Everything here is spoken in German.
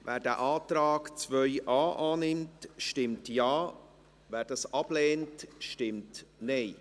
Wer den Antrag 2.a annimmt, stimmt Ja, wer dies ablehnt, stimmt Nein.